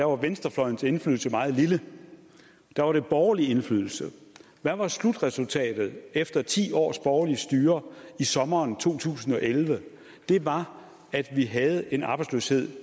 var venstrefløjens indflydelse meget lille der var der borgerlig indflydelse hvad var slutresultatet efter ti års borgerligt styre i sommeren 2011 det var at vi havde en arbejdsløshed